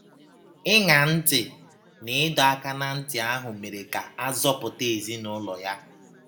Ịṅa ntị n’ịdọ aka ná ntị ahụ mere ka a zọpụta ezinụlọ ya